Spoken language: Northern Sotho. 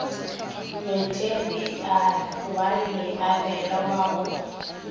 matereiale wa leabela wa go